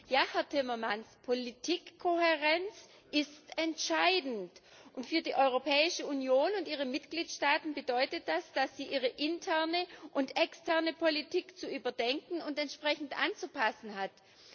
Ja, Herr Timmermans, Politikkohärenz ist entscheidend, und für die Europäische Union und ihre Mitgliedstaaten bedeutet das, dass sie ihre interne und externe Politik zu überdenken und entsprechend anzupassen haben.